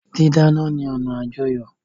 Dídáná ni ọna àjọyọ́.